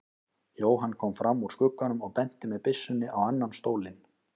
Jóhann kom fram úr skugganum og benti með byssunni á annan stólinn.